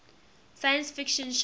science fiction short